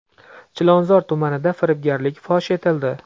Chilonzor tumanida firibgarlik fosh etildi.